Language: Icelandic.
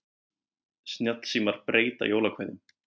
Snjallsímar breyta jólakveðjum